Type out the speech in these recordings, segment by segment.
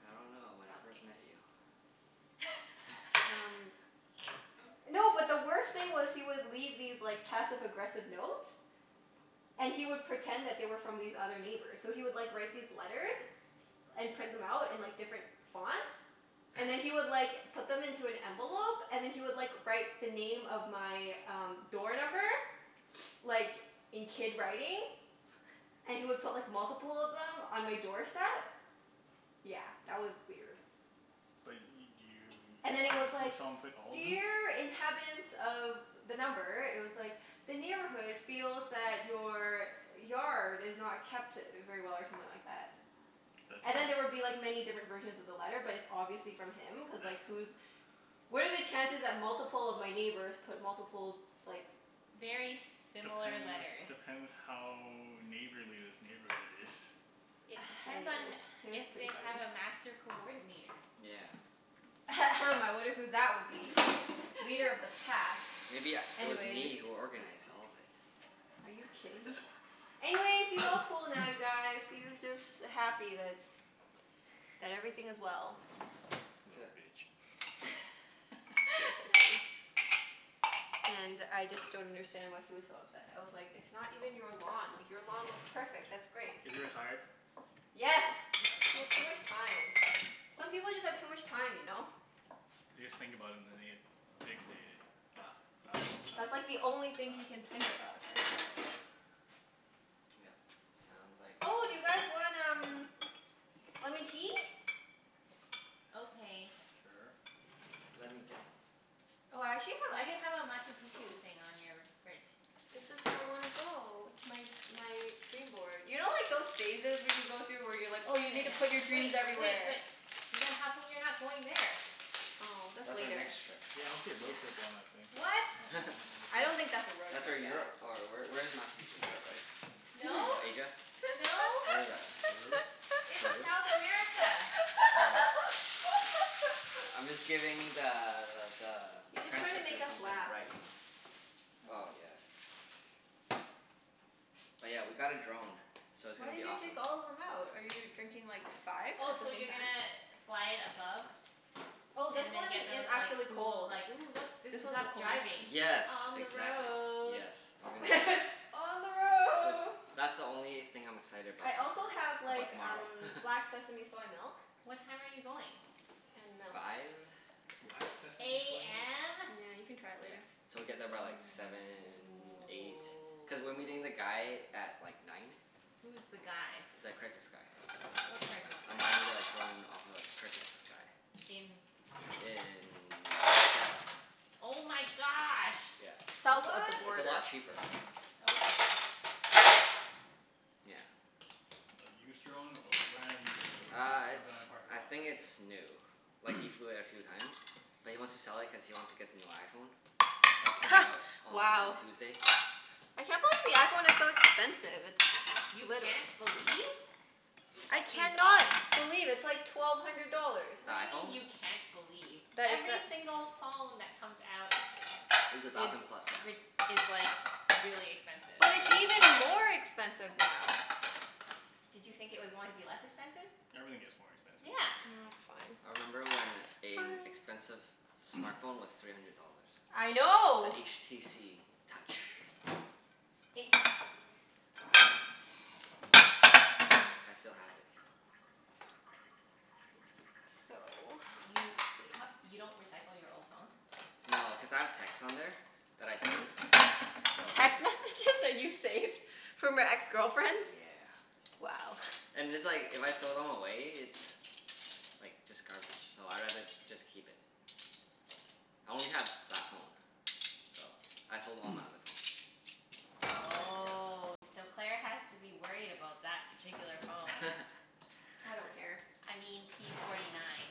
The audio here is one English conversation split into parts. I don't know. When I first met you. Okay. Um. No, but the worst thing was, he would leave these like passive aggressive notes. And he would pretend that they were from these other neighbors. So he would like write these letters and print them out in like different fonts. And then he would like put them into an envelope and then he would like write the name of my um door number, like in kid writing. And he would put like multiple of them on my doorstep. Yeah, that was weird. But y- And do then you, it was you saw him, like, you saw him put all of them? "Dear inhabitants of" the number, it was like, "The neighborhood feels that your yard is not kept very well" or something like that. That's And then there would be nice. like many different versions of the letter but it's obviously from him, cuz like who's, what are the chances that multiple of my neighbors put multiple like Very similar Depends, letters. depends how neighborly this neighborhood is. It depends on Anyways, it was if pretty they funny. have a master coordinator. Yeah. I wonder who that would be? Leader of the pack. Maybe u- it was Anyways. me who organized all of it. Are you kidding me? Anyways, he's all cool now you guys. He's just happy that, that everything is well. Huh. Little bitch. Basically. And I just don't understand why he was so upset. I was like, it's not even your lawn. Like your lawn looks perfect. That's great. Is he retired? Yeah, Yes. He has too okay. much time. Some people just have too much time, you know? They just think about it and then they get fixated. Ah ah ah ah That's like the only thing he can think ah. about Yep. Sounds like. Oh, do you guys want um lemon tea? Okay. Sure. Let me get them. Oh, I actually have Why do you have a Machu Picchu thing on your fridge? This is where I wanna go. It's my my dream board. You know like those phases when you go through, where you're like Oh oh yeah you need to put your yeah dreams yeah. Wait wait, everywhere? but then how come you're not going there? Oh that's That's our later. next trip. Yeah road trip on that thing. What? On on I don't think that's a the road That's where trip, yeah. Europe or where where is Machu Picchu? Europe, right? No, No. Asia? No. Where is that? Peru? It's Peru? South America. Oh. I'm just giving the the He's just trying to make transcriptor us something to laugh. write, you know? That's Oh all. yeah. Oh yeah, we got a drone, so it's Why gonna be did you awesome. take all of them out? Are you drinking like five Oh at the so same you're time? gonna fly it above? Oh, this And then one get is those like actually cool cold. like, "Ooh look, this This is one's the us coldest driving." one. Yes, On the exactly. road. Yes. We're gonna On the That's road. that's the only thing I'm excited about I so also have far, like about tomorrow. um black sesame soy milk. What time are you going? And milk. Five. Black sesame soy milk? AM? Yeah, you can try it Yeah. later. So we get there by like seven, eight. Cuz we're meeting the guy at like nine. Who's the guy? The Craigslist guy. What Craigslist guy? I'm buying the drone off of a Craigslist guy. In In Seattle. Oh my gosh. Yeah, South of the it's What? a border. lot cheaper. Okay. Yeah. A used drone or a brand new Uh from a it's, guy in a parking I lot think kind it's new. of Like he deal? flew it a few times. But he wants to sell it cuz he wants to get the new iPhone. That's coming out on Wow. Tuesday. I can't believe the iPhone is so expensive. It's You literal. can't believe? I That seems can not odd. believe. It's like twelve hundred dollars. The What do you mean iPhone? you can't believe? Every single phone that comes out Is a is thousand plus now. rid- is like really expensive. But it's even more expensive now. Did you think it was going to be less expensive? Everything gets more expensive. Yeah. Oh I fine. remember when a Fine. expensive smart phone was three hundred dollars. I know. The HTC Touch. H? I s- I still have it. So, let's You see. h- you don't recycle your old phones? No, cuz I have texts on there that I save, so. Text messages that you saved from your ex-girlfriends? Yeah. Wow. And it's like, if I throw them away it's like just garbage, so I'd rather just keep it. I only have that phone. So, I sold all my other phones. Oh, so Claire has to that particular phone. Yeah. I don't care. I mean p forty nine.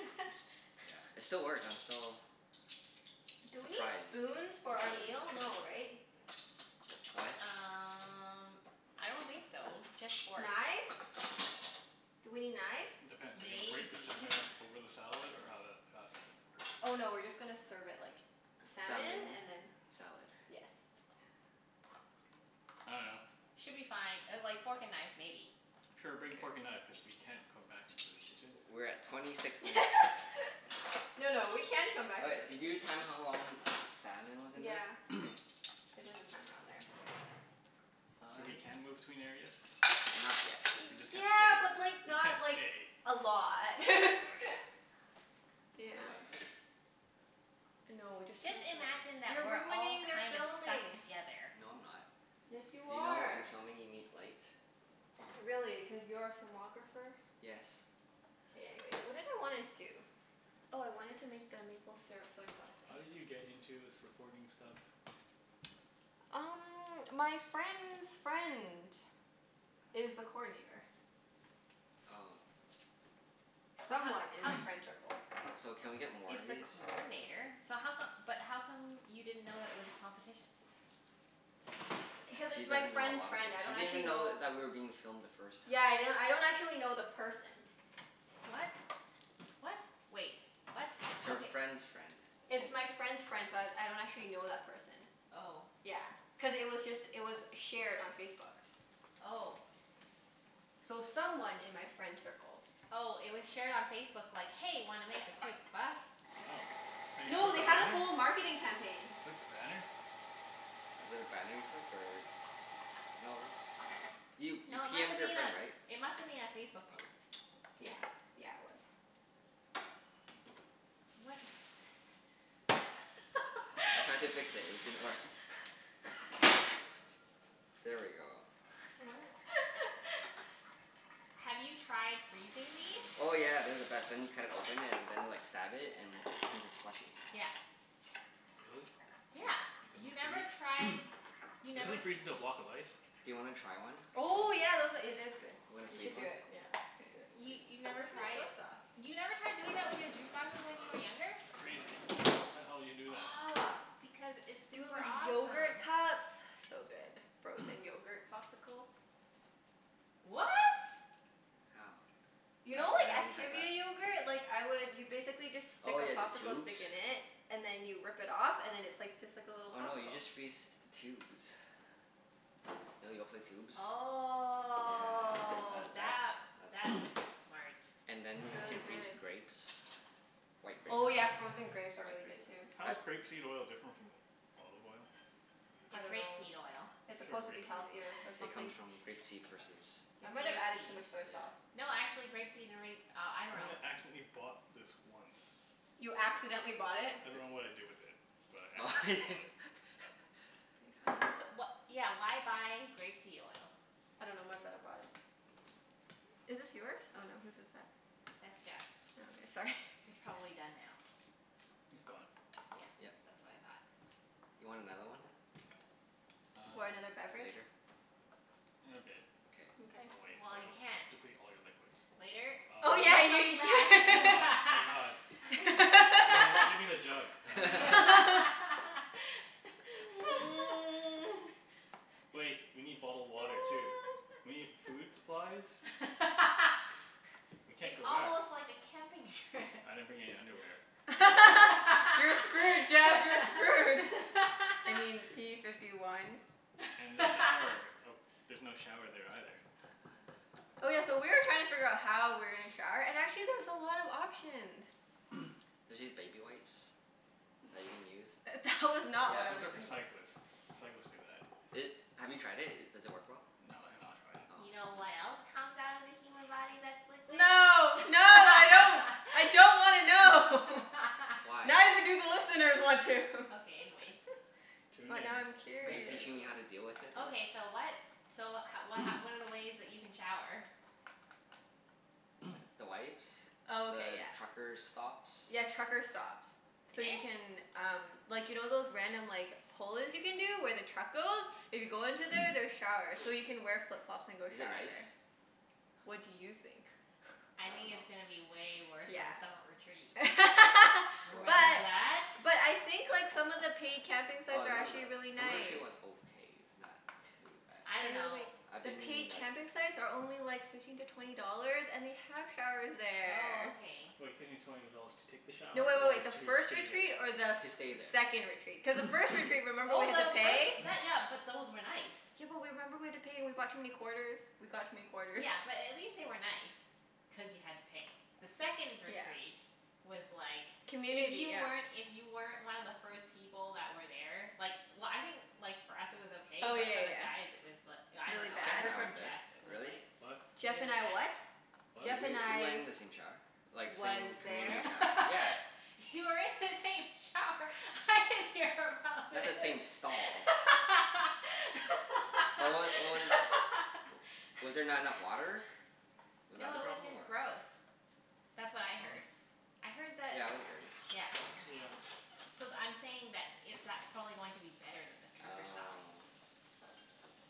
Yeah, it still works, I'm still Do we need surprised spoons for the our battery meal? No, has right? What? Um I don't think so. Just forks. Knives? Do we need knives? Depends. Are you gonna break the Maybe. salmon up over the salad, or how that, how's that gonna Oh work? no, we're just gonna serve it like salmon Salmon. and then. Salad. Yes. I dunno. Should be fine. Uh like fork and knife maybe. Sure, K. bring fork and knife, cuz we can't come back into the kitchen. We're at twenty six minutes. No no, we can come back All right, into the did you kitchen. time how long the salmon was in there? Yeah. K. I did the timer on there. So we can move I between areas? Not yet. We just can't Yeah, stay? but like We just can't not like stay. a lot. Okay. Is Yeah. there lights here? No, just turn Just off the light. imagine that You're we're all ruining their kind of stuck filming. together. No, I'm not. Yes, you You know in are. filming you need light? Really? Cuz you're a filmographer? Yes. Okay, anyways. What did I wanna do? Oh I wanted to make the maple syrup soy sauce thing. How did you get into this recording stuff? Um my friend's friend is the coordinator. Oh. But ho- Someone in my ho- friend tircle. So can we get more he's of the these? coordinator, so how come, but how come you didn't know that it was a competition? Because She it's my doesn't know a friend's lot of friend. things. I She don't didn't even actually know know. that we were being filmed the first time. Yeah yeah, I don't actually know the person. What? What? Wait. What? It's her Okay. friend's friend. It's my friend's friend, so I I don't actually know that person. Oh. Yeah, cuz it was just, it was shared on Facebook. Oh. So someone in my friend circle. Oh, it was shared on Facebook like, "Hey, wanna make a quick buck?" Oh. And you No, clicked they the had a banner? whole marketing campaign. You clicked the banner? Was it a banner you clicked or? No it was, you you No, it p must m'ed have your been friend right? a, it must have been a Facebook post. Yeah. Yeah, it was. What? I tried to fix it. It didn't work. There we go. What? Have you tried freezing these? Oh yeah. They're the best. Then you cut it open and then like stab it and it turns into slushy. Yeah. Really? Yeah. Yep. You It never doesn't tried, freeze? you Doesn't never it freeze into a block of ice? Do you wanna try one? Oh yeah, those a- , it is good. You wanna You freeze should do one? it. Yeah. Let's Okay. do it. We'll You freeze you've one. never Where's my tried? soy sauce? You never tried doing it with your juice boxes when you were younger? Crazy. Why the hell you would do that? Aw, Because it's do it super with awesome. yogurt cups? So good. Frozen yogurt popsicle. What? How? You know I I like haven't tried that. Activia yogurt? Like I would, you basically just stick Oh a yeah, the popsicle tubes? stick in it and then you rip it off and then it's like just like a little Oh no, you popsicle. just freeze the tubes. You know Yoplait tubes? Yeah, Oh that that, that's that's that's smart. And then you can freeze grapes. White grapes. Oh yeah, frozen grapes are White really good grapes. too. How I is grape seed oil different from olive oil? I It's rape dunno. seed oil. It's Sure, supposed to be rape seed healthier or oil. It something. comes from grape seed versus I It's might have rape added too seed. much soy sauce. No, actually grape seed and ra- oh, I dunno. I accidentally bought this once. You accidentally bought it? I dunno Di- what I did with it, but I accidentally bought it. That's pretty funny. So wha- yeah, why buy grape seed oil? I dunno, my brother brought it. Is this yours? Oh no, whose is it? That's Jeff's. Oh okay. Sorry. It's probably done now. It's gone. Yeah. Yep. That's what I thought. You want another one? Or Um another beverage? Later? In a bit. Okay. Mkay. I'll wait. So Well, I you don't can't. deplete all your liquids. Later? Oh Oh my yeah yeah ye- god. Oh my god. Give me give me the jug. Wait. We need bottled water too. We need food supplies. We can't It's go back. almost like a camping trip. I didn't bring any underwear. You're screwed Jeff, you're screwed. I mean p fifty one. And the shower. Oh there's no shower there either. Oh yeah, so we were trying to figure how we were gonna shower and actually there's a lot of options. There's these baby wipes that you can use. That was not what I Those was Yeah. are for think- cyclists. Cyclists do that. It, have you tried it? Does it work well? No, I have not tried it. Oh. You know Hmm. what else comes out of the human body that's liquid? No. No, I don't. I don't wanna know. Why? Neither do the listeners want to. Okay, anyways. Tune But in. now I'm Are you curious. teaching me how to deal with it or? Okay so what, so ho- wh- h- what are the ways that you can shower? The wipes. Oh okay, The yeah. trucker stops. Yeah, trucker stops. So you can um, like you know those random like pull-ins you can do where the truck goes? If you go into there there's showers, so you can wear flip-flops and go Is it shower nice? there. What do you think? I think I it's going to dunno. be way worse Yeah. than the summer retreat. Remember What But that? but I think like some of the paid camping Well, sites are not actually the, really some of the nice. was okay. It's not too bad. I dunno. I've The been in paid like camping sites are only like fifteen to twenty dollars and they have showers Oh there. okay. Like fifteen to twenty dollars to take the shower No, wait wait or wait. The to first stay retreat there? or the To stay th- there. second retreat? Cuz the first retreat remember we Oh had to no, pay? those, that, yeah, but those were nice. Yeah but w- remember we had to pay and we brought too many quarters? We got too many quarters. Yeah, but at least they were nice, cuz you had to pay. The second Yeah. retreat was like, if Community, you yeah. weren't, if you weren't one of the first people that were there Like w- I think like for us it was okay Oh but for yeah the yeah guys it was l- I yeah. Really dunno, I Jeff bad? and heard I was from there. Jeff it was Really? like What? Jeff really and I bad. what? W- Jeff and we went I in the same shower. Like Was same there? community shower. Yeah. You were in the same shower? I didn't hear about Not the this. same stall. But what w- what was, was there not enough water? Was that No, the it was problem? just Or gross. That's what I heard. Oh. I heard that, Yeah, it was dirty. yeah. Yeah. So th- I'm saying that it, that's probably going to be better than the trucker stops. Oh.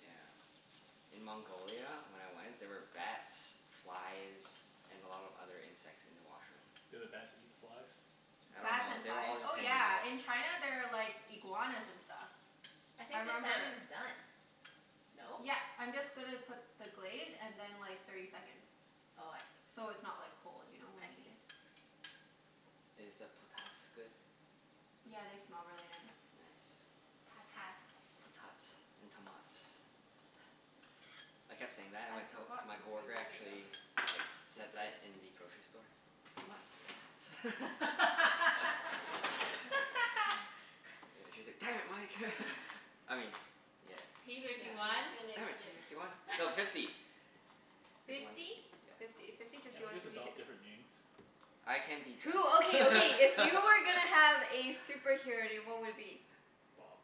Yeah. In Mongolia when I went, there were bats, flies, and a lot of other insects in the washroom. Did the bats eat the flies? I don't Bats know. and They were flies? all just Oh hanging out. yeah, in China there are like iguanas and stuff. I I think the remember salmon's done, no? Yep, I'm just gonna put the glaze and then like thirty seconds. Oh, I see. So it's not like cold, you know, when I we eat see. it? Is the potats good? Yeah, they smell really nice. Nice. Patats. Potats and tomats. I kept saying that and I my to- forgot my the green coworker onion though. actually like said that in the grocery store. Tomats. Potats. Yeah, she was like, "Damn it, Mike." I mean, yeah. P Yeah fifty one? Damn give it. P it. fifty one. No, fifty. Fifty one, Fifty? fifty. Yeah. Fifty. Fifty, fifty Can't we one, just fifty two. adopt different names? I can be Jeff. Who, okay, okay, if you were gonna have a superhero name what would it be? Bob.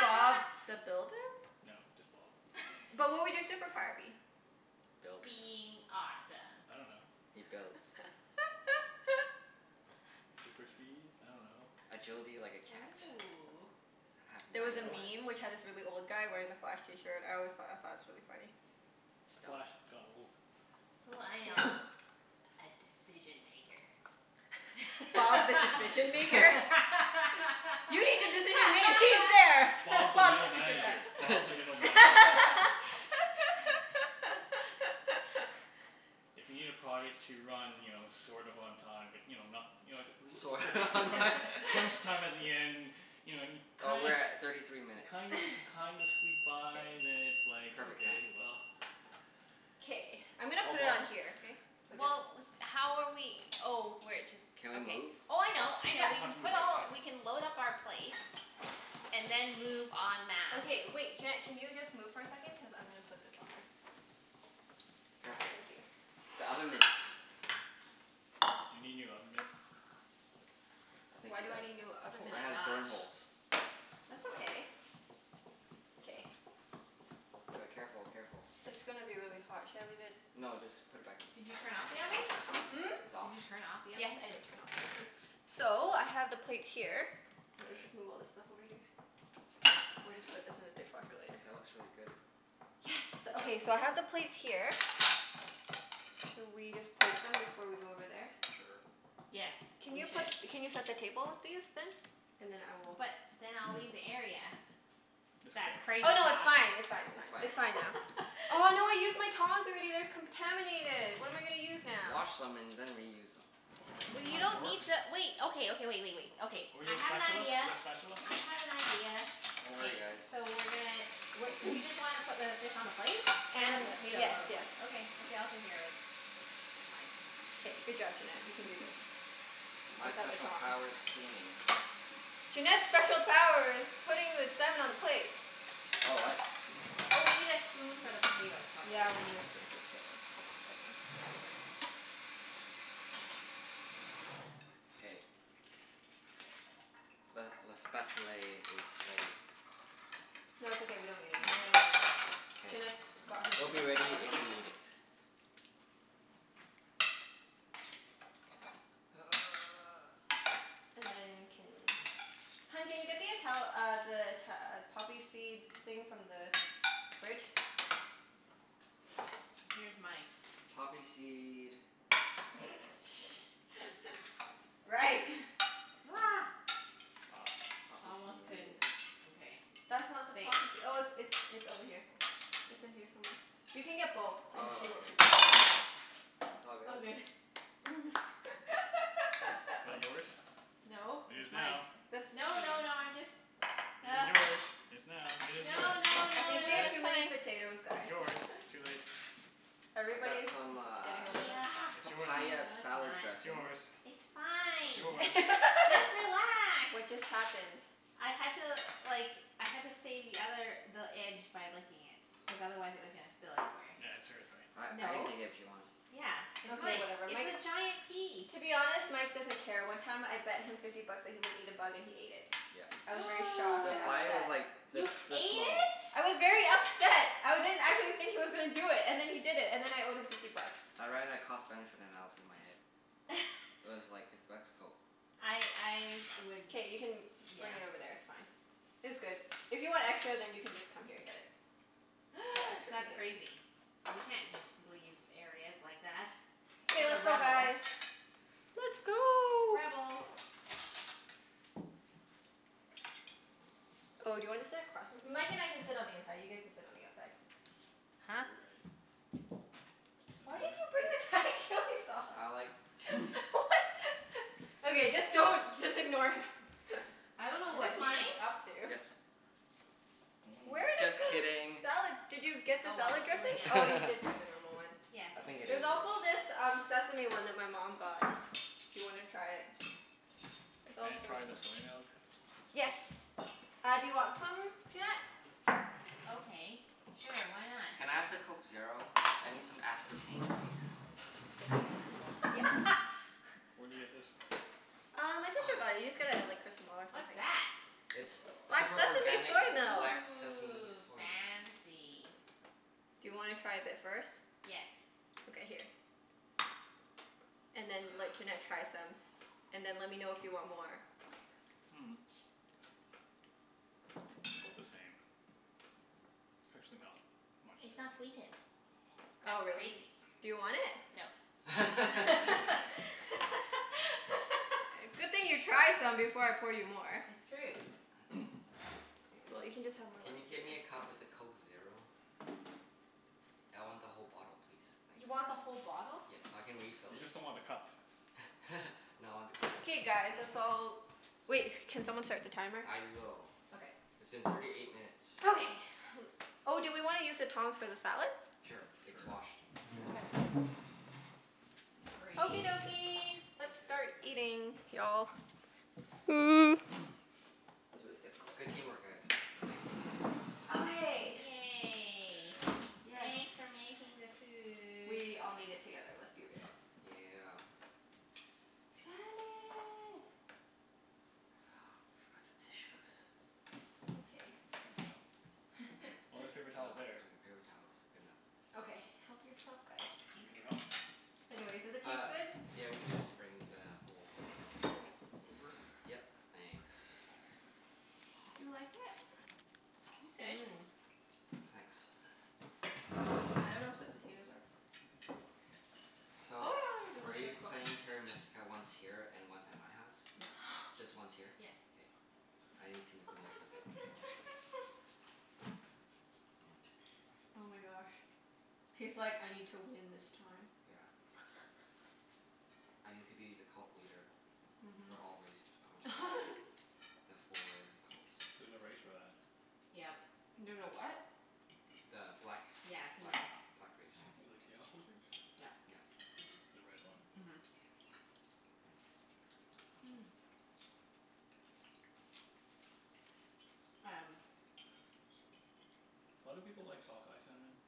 Bob the Builder? No, just Bob. But what would your superpower be? Builds. Being awesome. I don't know. He builds. Super speed? I dunno. Agility like a cat. Ooh. Have There nine was a lives. Stealth? meme which had this really old guy wearing the Flash t-shirt. I always thought, I thought it was really funny. Stealth? Flash got old. Ooh, I know. A decision maker. That's Bob the not a Decision Maker? superpower. You need a decision made? He's there! Bob the Bob's middle manager. Bob the middle manager. If you need a project to run, you know, sort of on time, but you know, not You know t- Sort of l- on t- time? crunch time at the end You know and Oh, kind we're of at thirty three minutes. kind of kind of squeak by then it's like, Perfect okay, timing. well K, I'm gonna Call put it Bob. on here, okay? So just Well, with, how are we oh, we're jus- Can we okay. move Oh I spots? know, I We know, Yep. don't we have can to move put right all, away. we can load up our plates and then move en masse. Okay wait, Junette can you just move for a second? Cuz I'm gonna put this on there. Ah Careful. thank you. The oven mitts. You need new oven mitts? I think Why she do I does. need new oven Oh It mitts? my has burn gosh. holes. That's okay. K. D- careful, careful. It's gonna be really hot. Should I leave it No, just put it back in. Did you turn off the oven? Hmm? It's off? Did you turn off the Yes, oven? I did turn off the oven. So, I have the plates here. Let's just move K. all this stuff over here. We'll just put this in the dishwasher later. That looks really good. Yes. Good job, Okay, team. so I have the plates here. Should we just plate them before we go over there? Sure. Yes, Can we you put, should. can you set the table with these then? And then I will But then I'll leave the area. It's That's okay. crazy Oh no, it's talk. fine, it's fine, it's It's fine. fine. It's fine now. Oh no, I used my tongs already. They're contaminated. What am I gonna use now? Wash them and then reuse them. Well you Two don't forks? need to wait, okay, okay, wait wait wait. Okay. Or you I got a have an spatula? idea. You got a spatula? I have an idea. Don't K. worry guys. So we're gonna w- you just want to put the fish on the plate? And the And, potatoes yes, on the yes. plate? Okay. Okay, I'll take care of it. Fine. K, good job Junette. You can do this. My Without the special tongs. power's cleaning. Junette's special power is putting the salmon on a plate. Oh, what? Oh, we need a spoon for the potatoes probably. Yeah, we need a spoon for the potatoes. Hold on a second. K. Le le spatulay is ready. No, it's okay, we don't need it No, anymore. we don't need it. K. Junette's got her It'll be super ready power. if you need it. And then can, hun can you get the Ital- uh the Ita- uh poppy seeds thing from the fridge? Here's Mike's. Poppy seed Right. Ah. Poppy Almost seed couldn't, okay. That's not the Saved. poppysee- oh it's it's it's over here. It's in here somewhere. You can get both and Oh, see what here. people want. It all All good. good. That yours? No, It is it's now. Mike's. The No, no, no, I'm just It is yours. It's now. It is yours. No, no, I no, think we no, have Yes. it's too many fine. potatoes It's guys. yours. Too late. I got Everybody's some getting uh a little Yeah. It's yours now. papaya No, it's salad not. It's dressing. yours. It's It's fine. yours. Just relax. What just happened? I had to like, I had to save the other, the edge by licking it. Cuz otherwise it was gonna spill everywhere. That's hers, right? I I can No. take it if she wants. Yeah, it's Okay Mike's. whatever. It's Mike, a giant piece. to be honest, Mike doesn't care. One time I bet him fifty bucks that he wouldn't eat a bug and he ate it. Yep. I was very shocked The and fly was upset. like this You ate this small. it? I was very upset. I didn't, I didn't think he was gonna do it, and then he did it. And then I owed him fifty bucks. I ran a cost benefit analysis in my head. It was like, fifty bucks? Cool. I I would, K, you can yeah. bring it over there, it's fine. It's good. If you want extra Yes. then you can just come here and get it. That's crazy. You can't just leave areas like that. Okay What a let's go rebel. guys. Let's go. Rebel. Oh, do you want to sit across from, Mike and I can sit on the inside. You guys can sit on the outside. Huh? Why did you bring the Thai chili sauce? I like chili. What? Okay, just don't, just ignore him. I don't know Is what this he's mine? up to. Yes. Where Mm. did Just the kidding. salad, did you get the Oh well, salad it's too late dressing? now. Oh, you did bring the normal one. Yes. I think it There's is yours. also this um sesame one that my mom got. If you wanna try it. There's Can all I try the sorts of soy milk? Yes. Uh do you want some, Junette? Okay, sure. Why not? Can I have the Coke Zero? I need some aspartame please. It's You this like this one. one? Yes. Where do you get this from? Uh, my sister got it. You just get a like or What's something. that? It's Black super sesame organic soy milk. black sesame Ooh, soy milk. Mmm. fancy. Do you wanna try a bit first? Yes. Okay, here. And then let Junette try some. And then let me know if you want more. Mm. 'Bout the same. It's actually not much It's not different. sweetened. Oh, That's really? crazy. Do you want it? No. I can have it. Good thing you tried some before I poured you more. It's true. Well, you Cool. can just have my Can lemon you tea get me then. a cup with a Coke Zero? I want the whole bottle please. Thanks. You want the whole bottle? Yes, so I can refill You it. just don't want the cup. No, I want the cup too. K guys, let's You want all, it. wait, can someone start the timer? I will. Okay. It's been thirty eight minutes. Okay. Oh, do we wanna use the tongs for the salad? Sure, it's Sure. washed. Okay. Okie Great. dokie, let's start eating y'all. Mm, was really difficult. Good team work guys. Thanks. Okay. Yay. Yay. Yes. Thanks for making the food. We all made Yeah. it together. Let's be real. Yeah. Salad. We forgot the tissues. It's okay. Oh, there's Oh, I got paper paper towels there. towels. Good enough. Okay, help yourself guys. You need paper towel? Anyways, does it Uh, taste good? yeah we can just bring the whole Okay. roll. Over? Yep. Thanks. Do you like it? It's good. Mmm. Thanks. I don't know if the potatoes are So are we playing Terra Mystica once here and once at my house? No. Just once here? Yes. K. I need to make the most of it. Oh my gosh. He's like, "I need to win this time." Yeah. I need to be the cult leader for Mhm. all race or for all the four cults. There's a race for that. Yep. There's a what? The black Yeah, he black knows. black race. The chaos wizards? Yep. Yep. The red one. Mhm. Mm. Um Why do people like sockeye salmon?